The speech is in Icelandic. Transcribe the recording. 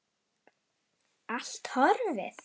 Allt horfið.